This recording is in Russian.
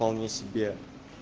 вполне себе